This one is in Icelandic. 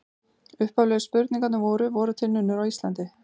Upphaflegu spurningarnar voru: Voru til nunnur á Íslandi?